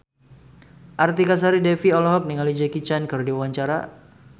Artika Sari Devi olohok ningali Jackie Chan keur diwawancara